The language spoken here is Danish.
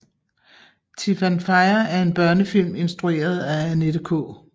Tifanfaya er en børnefilm instrueret af Annette K